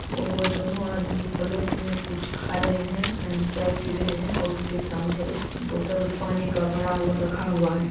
और वो दोनों आदमी प्लेट में कुछ खा रहे हैं एंड चाय पी रहे हैं और उसके सामने एक बोतल पानी का भरा हुआ रखा हुआ है।